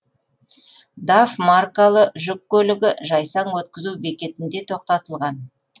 даф маркалы жүк көлігі жайсаң өткізу бекетінде тоқтатылған